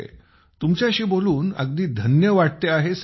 तुमच्याशी बोलून अगदी धन्य वाटते आहे सर